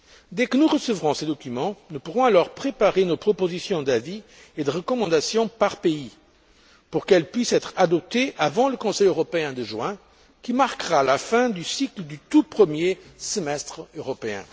Dès que nous recevrons ces documents, nous pourrons alors préparer nos propositions d'avis et de recommandations par pays pour qu'elles puissent être adoptées avant le Conseil européen de juin, qui marquera la fin du cycle du tout premier semestre européen.